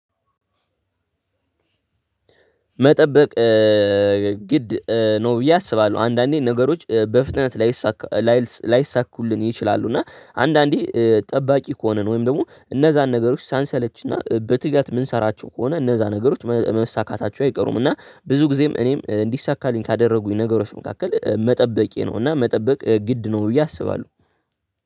መጠበቅ ግድ ነው ብዬ አስባለሁ አንዳንዴ ነገሮች በፍጥነት ላይሳካ ላይልስ ላይሳኩልን ይችላሉ። እና አንዳንዴ ጠባቂ ከሆነን ወይም ደግሞ እነዛን ነገሮች ሳንሰለች እና በትጋት የምንሠራቸው ከሆነ እነዛ ነገሮች መ መሳካታቸው አይቀሩም። እና ብዙ ጊዜም እኔም እንዲሳካልኝ ካደረጉኝ ነገሮች መካከል መጠበቄ ነው። እና መጠበቅ ግድ ነው ብዬ አስባለሁ